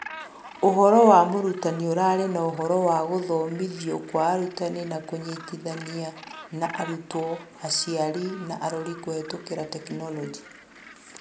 ũhoro wa mũrutani ũrarĩ na ũhoro wa gũthomithio kwa arutani na kũnyitithania na arutwo, aciari na arori kũhetũkĩra Tekinoronjĩ.